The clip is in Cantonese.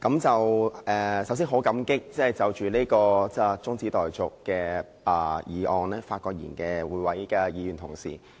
首先，我很感激就這項中止待續議案發言的議員。